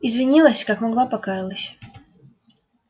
извинилась как могла покаялась